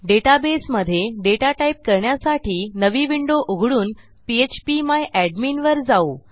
डेटाबेसमधे data type करण्यासाठी नवी window उघडून पीएचपी माय एडमिन वर जाऊ